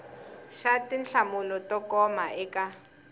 xa tinhlamulo to koma eka